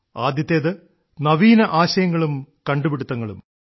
ആദ്യത്തേത് നവീന ആശയങ്ങളും കണ്ടുപിടുത്തങ്ങളും